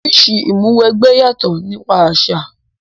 Oríṣi Ìmúw'ẹgbẹ́ yàtò nípa àṣà